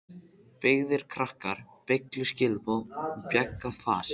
Beygðir krakkar, beygluð skilaboð og bjagað fas.